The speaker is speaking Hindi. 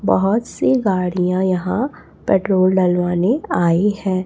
बहोत सी गाड़ियां यहां पेट्रोल डलवाने आई हैं।